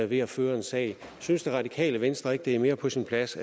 ved at føre en sag synes det radikale venstre ikke at det er mere på sin plads